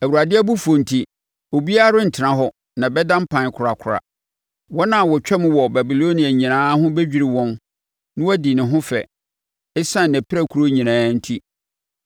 Awurade abufuo enti, obiara rentena hɔ na ɛbɛda mpan korakora. Wɔn a wɔtwam wɔ Babilonia nyinaa ho bɛdwiri wɔn na wɔadi ne ho fɛ ɛsiane nʼapirakuro nyinaa enti.